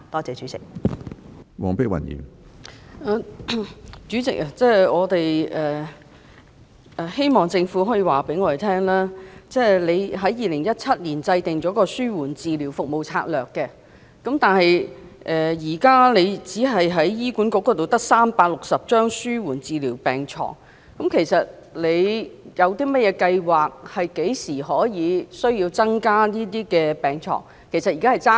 主席，希望政府可以告訴我們，雖然醫管局於2017年制訂了《紓緩治療服務策略》，但現時只有360張紓緩治療病床。其實，局長有甚麼計劃、何時可以增加這些病床？